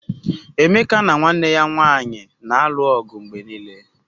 Emeka na nwanne ya nwanyị na-alụ ọgụ mgbe niile